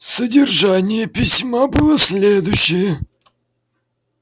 содержание письма было следующее